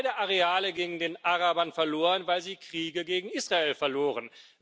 Beide Areale gingen den Arabern verloren, weil sie Kriege gegen Israel verloren.